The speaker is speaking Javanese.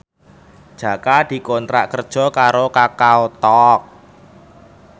Jaka dikontrak kerja karo Kakao Talk